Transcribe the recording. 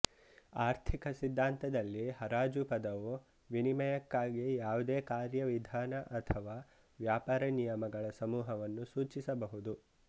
ಆರ್ಥಿಕ ಸಿದ್ಧಾಂತದಲ್ಲಿ ಹರಾಜು ಪದವು ವಿನಿಮಯಕ್ಕಾಗಿ ಯಾವುದೇ ಕಾರ್ಯವಿಧಾನ ಅಥವಾ ವ್ಯಾಪಾರ ನಿಯಮಗಳ ಸಮೂಹವನ್ನು ಸೂಚಿಸಬಹುದು